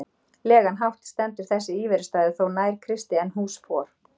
legan hátt stendur þessi íverustaður þó nær Kristi en hús for